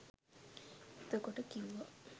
එතකොට කිව්වා